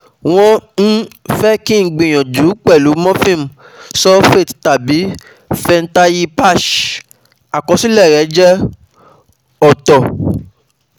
Won um fe ki n gbiyanju pelu morphine sulfate tabi fentayi patch akosile um re o je ooto